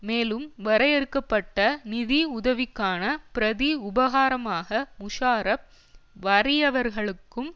மேலும் வரையறுக்க பட்ட நிதி உதவிக்கான பிரதி உபகாரமாக முஷாரப் வறியவர்களுக்கும்